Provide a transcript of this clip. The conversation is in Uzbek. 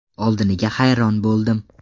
Oldiniga hayron bo‘ldim.